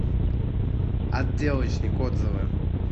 отделочник отзывы